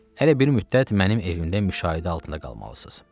Hələ bir müddət mənim evimdə müşahidə altında qalmalısınız.